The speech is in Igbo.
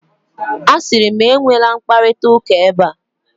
A siri m, enwela mkparita ụka ebe a.